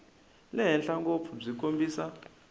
le henhla ngopfu byi kombisa